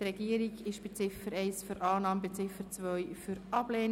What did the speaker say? Die Regierung ist bei Ziffer 1 für Annahme, bei Ziffer 2 für Ablehnung.